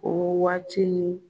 O waati